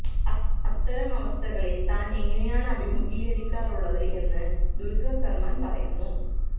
അത്തരം അവസ്ഥകളെ താന് എങ്ങിനെയാണ് അഭിമുഖീകരിക്കാറുള്ളത് എന്ന് ദുല്ഖര് സല്മാന് പറയുന്നു